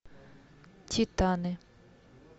титаны